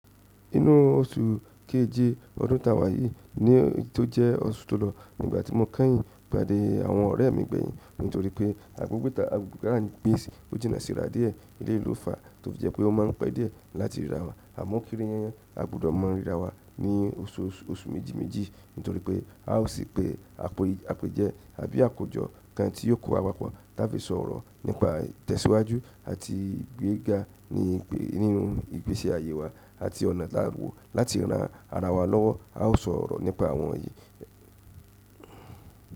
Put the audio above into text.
Inú oṣù keje ọdún taa wà yí ni tó jẹ́ oṣù tó lọ nígbà tí mo kányìn pàdé àwọn ọ̀rẹ́ mi gbẹ̀yìn nítorí pé agbègbè ta n gbé ojìna síra dìé eléyi lófa tó fi jẹ́ pé o má ń pe díẹ̀ láti ríra wa àmọ́ kéré yẹn a gbúdọ̀ maa ríra wa ní oṣù méjì méjì nítorí pé a ó sì pè àpèjẹ́ àbí àkójọ kan tí yóò kó wa papọ̀ táa fi sọ̀ orọ̀ nípa tẹ̀síwájú àti igbéga nínú ìgbésí ayé wa àti ọ̀nà ta wò láti ran ara wa lọ́wọ́ a ó sọ̀rọ̀ nípa àwọn èyí.